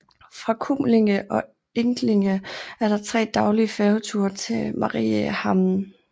Fra Kumlinge og Enklinge er der 3 daglige færgeture til Mariehamn